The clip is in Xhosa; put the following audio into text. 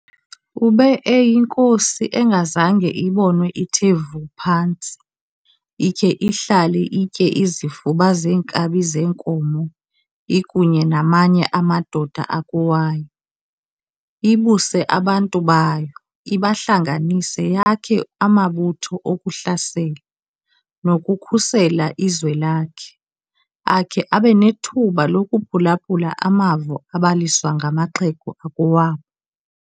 Ube eyinkosi engazange ibonwe ithe vu phantsi, ikhe ihlale itye izifuba zeenkabi zenkomo ikunye namanye amadoda akowayo, ibuse abantu bayo, ibahlanganise yakhe amabutho okuhlasela, nokukhusela izwe lakhe akhe abe nethuba lokuphulaphula amavo abaliswa ngamaxhego akowabo.